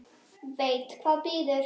Veit hvað bíður.